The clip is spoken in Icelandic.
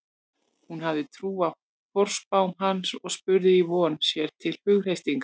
Hún hafði trú á forspám hans og spurði í von, sér til hughreystingar.